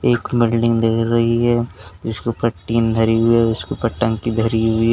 एक बिल्डिंग दिख रही है जिसके ऊपर टीन धरी हुई है उसके ऊपर टंकी धरी हुई है।